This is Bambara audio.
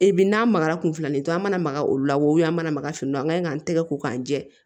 E bi n'a magara kun filanin kɛ an mana maka olu la wo an mana maga finiw an gaɲi ka nɛgɛ ko jɛ